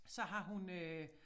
Så har hun øh